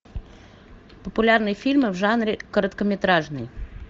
популярные фильмы в жанре короткометражный